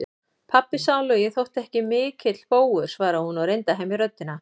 Pabbi sálugi þótti ekki mikill bógur, svaraði hún og reyndi að hemja röddina.